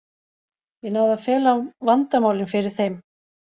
Ég náði að fela vandamálin fyrir þeim.